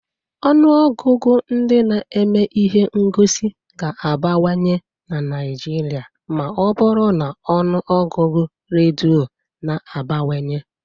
Ọnụ ọgụgụ ndị na-eme ihe ngosi ga-abawanye na Nigeria ma ọ bụrụ na ọnụ ọgụgụ redio na-abawanye